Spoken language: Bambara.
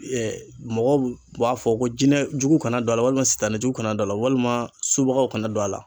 mɔgɔw b'a fɔ ko jinɛ jugu kana don a la walima, sitanɛ jugu kana don a la walima subagaw kana don a la.